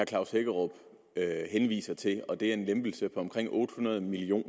klaus hækkerup henviser til og det er en lempelse på omkring otte hundrede million